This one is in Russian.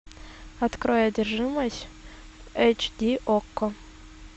открой одержимость эйч ди окко